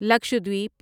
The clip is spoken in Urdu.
لکشدویپ